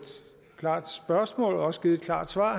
klart spørgsmål også givet et klart svar